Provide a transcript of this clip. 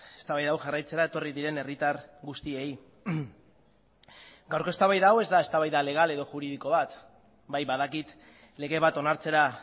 eztabaida hau jarraitzera etorri diren herritar guztiei gaurko eztabaida hau ez da eztabaida legal edo juridiko bat bai badakit lege bat onartzera